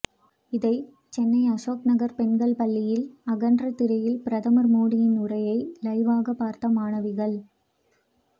இதை சென்னை அசோக் நகர் பெண்கள் பள்ளியில் அகன்ற திரையில் பிரதமர் மோடியின் உரையை லைவ்வாக பார்த்த மாணவிகள்